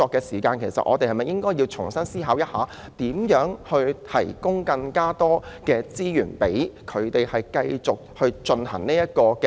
我們是否應該重新思考如何提供更多資源，讓港台繼續營運呢？